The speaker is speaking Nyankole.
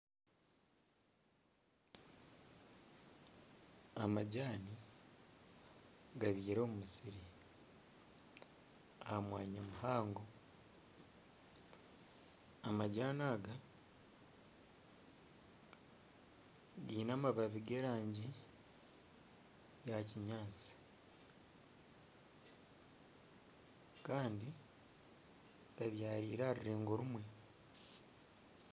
Amajani gabyirwe omu musiri aha mwanya muhango, amajani aga giine amababi g'erangi ya kinyaatsi kandi gabyarirwe aha rurengo rumwe.